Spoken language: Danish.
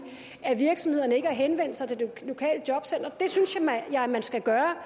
at virksomhederne ikke har henvendt sig til det lokale jobcenter det synes jeg at man skal gøre